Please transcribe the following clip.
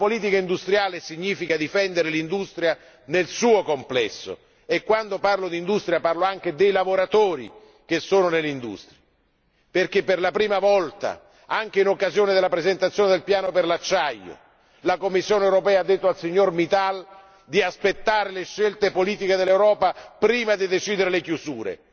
Ma politica industriale significa difendere l'industria nel suo complesso e quando parlo di industria mi riferisco anche ai lavoratori ivi impiegati, perché per la prima volta anche in occasione della presentazione del piano per l'acciaio, la Commissione ha significato al signor Mittal di aspettare le scelte politiche dell'Europa prima di decidere le chiusure,